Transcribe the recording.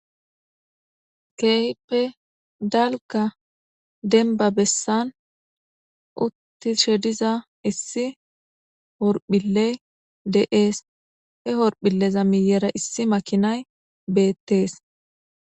Keehippe dalga demba besani utishe dhza issi horphiley de'es,he horphileza miyera issi makinayi beetesi.